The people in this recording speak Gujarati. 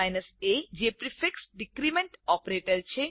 a જે પ્રીફિક્સ ડીક્રીમેન્ટ ઓપરેટર છે